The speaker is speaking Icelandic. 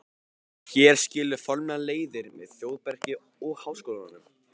Hér skilur formlega leiðir með Þórbergi og Háskólanum.